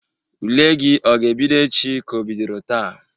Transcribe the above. Ule gi ọ ga-ebido echi ka o bidoro taa?